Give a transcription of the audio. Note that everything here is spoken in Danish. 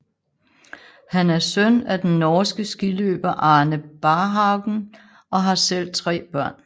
Han er søn af den norske skiløber Arne Barhaugen og har selv tre børn